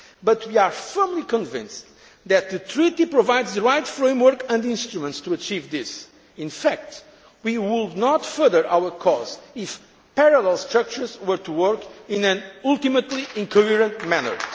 area. But we are firmly convinced that the Treaty provides the right framework and instruments to achieve this. In fact, we would not further our cause if parallel structures were to work in an ultimately incoherent